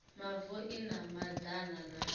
mavu i na madana na